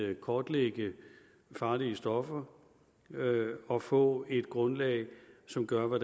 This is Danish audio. at kortlægge farlige stoffer og få et grundlag som gør at